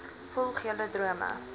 volg julle drome